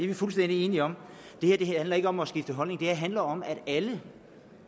vi fuldstændig enige om det her handler ikke om at skifte holdning det handler om at alle